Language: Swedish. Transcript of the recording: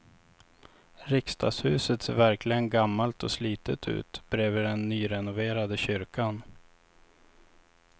Riksdagshuset ser verkligen gammalt och slitet ut bredvid den nyrenoverade kyrkan.